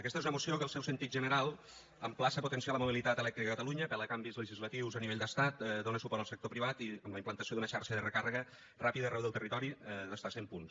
aquesta és una moció que el seu sentit general emplaça a potenciar la mobilitat elèctrica a catalunya apel·la a canvis legislatius a nivell d’estat i dóna suport al sector privat amb la implantació d’una xarxa de recàrrega ràpida arreu del territori de fins a cent punts